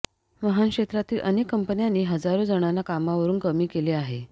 वाहनक्षेत्रातील अनेक कंपन्यांनी हजारो जणांना कामावरून कमी केले आहे